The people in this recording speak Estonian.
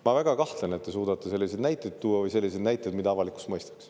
Ma väga kahtlen, et te suudate selliseid näiteid tuua, vähemalt selliseid näiteid, mida avalikkus mõistaks.